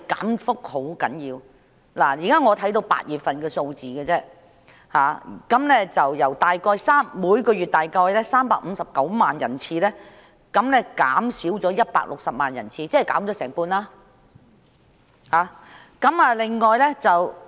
我目前只能看到8月份的數字，由每月約359萬人次減少160萬人次，即減少了接近一半。